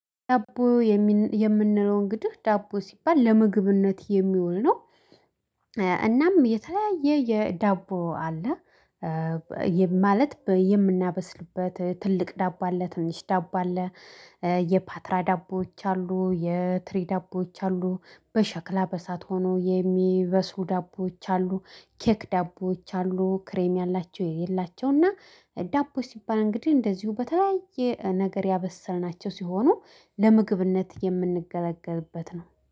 ዳቦ የምንለው እንግዲህ ዳቦ ሲባል ለምግብነት የሚውል ነው። እናም የተለያየ የዳቦ አለ። ማለት የምናበስልበት ትልቅ ዳቦ አለ ትንሽ ዳቦ አለ። የፓትራ ዳቦዎች አሉ የትሪ ዳቦዎች አሉ በሸክላ በእሳት ሆኖ የሚበስሉ ዳቦዎች አሉ ኬክ ዳቦዎች አሉ ክሬም ያላቸው የሌላቸው እና። ዳቦ ሲባል እንግዲህ እንደዚሁ በተለያየ ነገር ያበሰልናቸው ሲሆኑ ለምግብነት የምንገለገልበት ነው